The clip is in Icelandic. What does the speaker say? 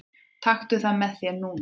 Taktu það með þér núna!